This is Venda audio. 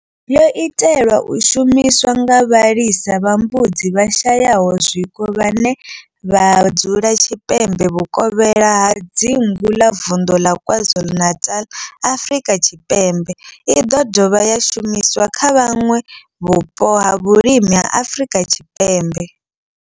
Yo itelwa u shumiswa nga vhalisa vha mbudzi vhashayaho zwiko vhane vha dzula tshipembe vhukovhela ha dzingu ḽa vunḓu la KwaZulu-Natal, Afrika Tshipembe i ḓo dovha ya shumiswa kha vhanwe vhupo ha vhulimi ha Afrika Tshipembe.